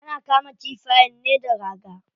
Ana kama kifayen ne da raga.